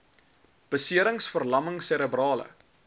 beserings verlamming serebrale